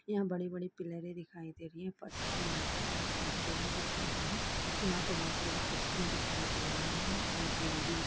यह बड़ी - बड़ी पिल्लरे दिखाई दे रही है फर्श पर मार्बल और टाइल्स दोनों बिछे हुए है यहाँ पर बहुत साडी कुर्सियां दिखाई दे रही है और ग्रील भी --